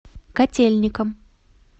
котельникам